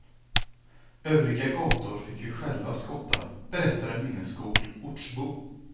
Övriga gator fick vi själva skotta, berättar en minnesgod ortsbo.